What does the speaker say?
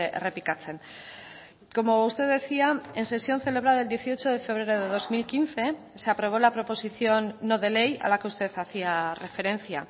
errepikatzen como usted decía en sesión celebrada el dieciocho de febrero de dos mil quince se aprobó la proposición no de ley a la que usted hacía referencia